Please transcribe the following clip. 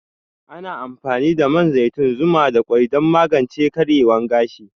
Ana amfani da man zaitun, zuma da kwai dan magance karyewan gashi